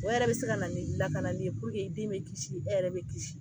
O yɛrɛ bɛ se ka na ni lakanani ye den bɛ kisi e yɛrɛ bɛ kisi